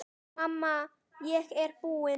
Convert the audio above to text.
Mamma, ég er búin!